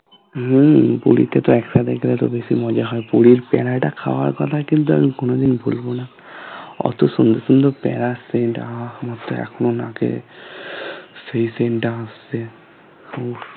হম পুরীতে তো একসাথে গেলে তো বেশি মজা হয় পুরীর প্যাড়া টা খাওয়ার কথা কিন্তু আমি কোনোদিন ভুলবো না ওতো সুন্দর সুন্দর প্যাড়ার scent টা আহঃ মুখে এখনো লাগে সেই scent টা আসে উফ